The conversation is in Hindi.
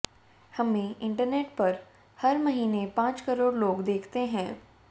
हमें इंटरनेट पर हर महीने पांच करोड़ लोग देखते हैं